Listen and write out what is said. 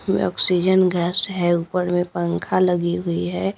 में oxygen gas है ऊपर में पंखा लगी हुई है।